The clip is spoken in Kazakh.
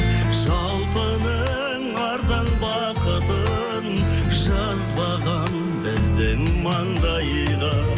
жалпының арзан бақытын жазбаған біздің маңдайға